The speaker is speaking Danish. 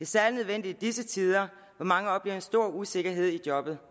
særlig nødvendigt i disse tider hvor mange oplever en stor usikkerhed i jobbet